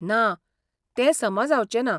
ना, तें समा जावचें ना.